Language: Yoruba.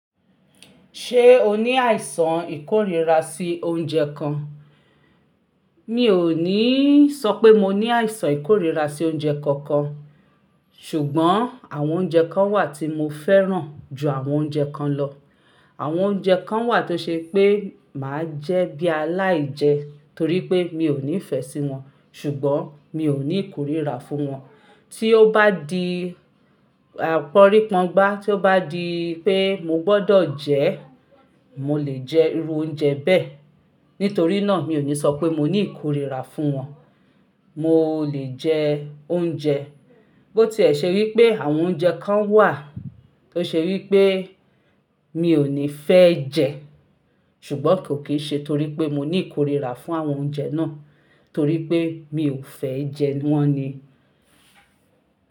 Ṣé o ní àìsàn ìkórìíra sí oúnjẹ kan? Mi ò ní sọ pé mo ní àìsàn ìkórìíra sí oúnjẹ kankan, ṣùgbọ́n àwọn oúnjẹ kan wà tí mo fẹ́ràn ju àwọn oúnjẹ kan lọ. Àwọn oúnjẹ kan wà tó ṣe pé máa jẹ́ bí aláìjẹ torí pé mi ò ní ìfẹ́ sí wọn, ṣùgbọ́n mi ò ní ìkórìíra fún wọn. Tí ó bá di àpọ́rí pọ́ngba, tí ó bá di pé mo gbọ́dọ̀ jẹ́, mo lè jẹ irú oúnjẹ bẹ́ẹ̀. Nítorí náà mi ò ní sọ pé mo ní ìkórìíra fún wọn. Mo lè jẹ oúnjẹ. Bó tí ẹ ṣe rí pé àwọn oúnjẹ kan wà tó ṣe wí pé mi ò ní fẹ́ jẹ, ṣùgbọ́n kò kí n ṣe torí pé mo ní ìkórìíra fún àwọn oúnjẹ náà torí pé mi ò fẹ́ jẹ wọ́n ni.